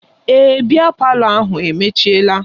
Èè, biya palọ ahụ emechiela